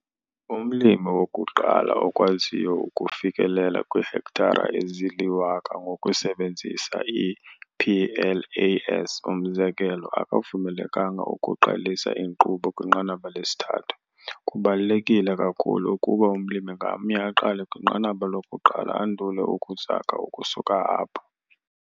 Umlimi "wokuqala" okwaziyo ukufikelela kwiihektare ezili-1 000 ngokusebenzisa i-PLAS, umzekelo, akavumelekanga ukuqalisa inkqubo kwiNqanaba lesi-3 - kubalulekile kakhulu ukuba umlimi ngamnye aqale kwinqanaba lokuqala andule ukuzakha ukusuka apho.